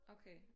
Okay